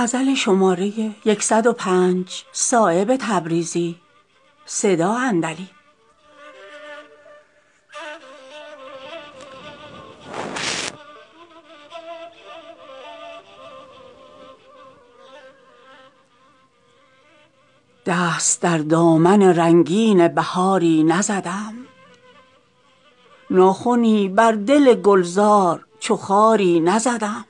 دست در دامن رنگین بهاری نزدم ناخنی بر دل گلزار چو خاری نزدم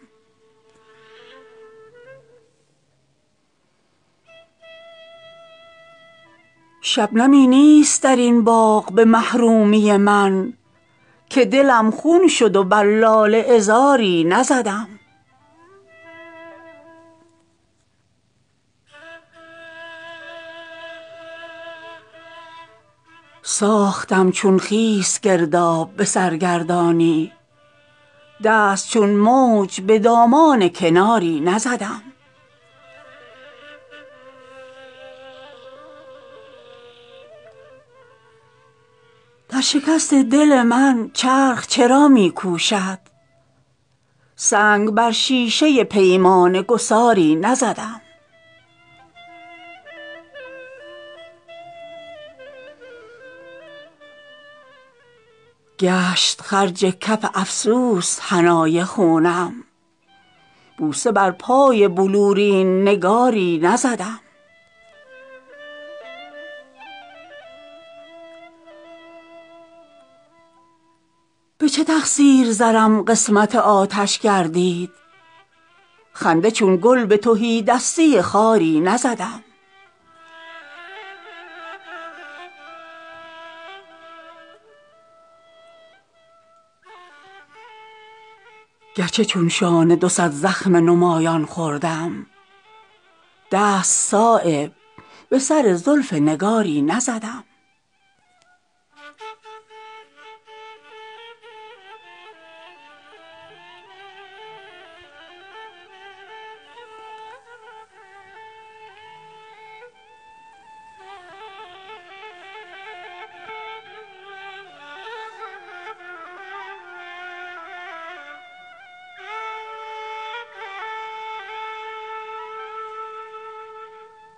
شبنمی نیست درین باغ به محرومی من که دلم خون شد و بر لاله عذاری نزدم دهشت سختی این راه گره کرد مرا سینه چون آبله بر نشتر خاری نزدم ساختم چون خس گرداب به سرگردانی دست چون موج به دامان کناری نزدم گنج پر گوهر من اشک ندامت کافی است بر سر گنجی اگر حلقه چو ماری نزدم در شکست دل من چرخ چرا می کوشد سنگ بر شیشه پیمانه گساری نزدم زان ز عیب و هنر خویش نگشتم آگاه که به اخلاص در آینه داری نزدم شد سرم خاک درین بادیه و ز پاس ادب دست چون گرد به فتراک سواری نزدم گشت خرج کف افسوس حنای خونم بوسه بر پای بلورین نگاری نزدم گرچه سر حلقه دلسوختگانم چون داغ ناخنی بر جگر لاله عذاری نزدم تیر تخشی طمع از شیر شکاران دارم که ز کوتاهی اقبال شکاری نزدم سیل بر خانه من زور چرا می آرد من چون بی وقت در خانه یاری نزدم کار این نشأه سزاوار به اقبال نبود نه ز عجزست اگر دست به کاری نزدم به چه تقصیر زرم قسمت آتش گردید خنده چون گل به تهیدستی خاری نزدم گرچه چون شانه دو صد زخم نمایان خوردم دست صایب به سر زلف نگاری نزدم